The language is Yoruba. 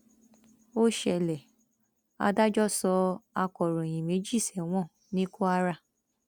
ó ṣẹlẹ adájọ sọ akọròyìn méjì sẹwọn ní kwara